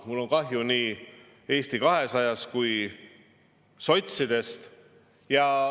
Mul on kahju nii Eesti 200-st kui ka sotsidest.